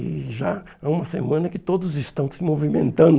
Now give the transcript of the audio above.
E já há uma semana que todos estão se movimentando.